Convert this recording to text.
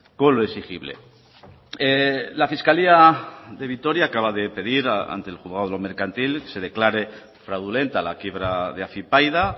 con lo exigible la fiscalía de vitoria acaba de pedir ante el juzgado mercantil se declare fraudulenta la quiebra de afypaida